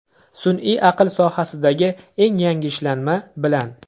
Sun’iy aql sohasidagi eng yangi ishlanma bilan!